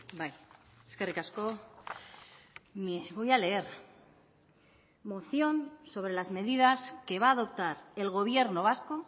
bai eskerrik asko voy a leer moción sobre las medidas que va a adoptar el gobierno vasco